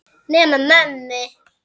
Nema mömmu.